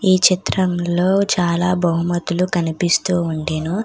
ఈ చిత్రంలో చాలా బహుమతులు కనిపిస్తూ ఉండెను.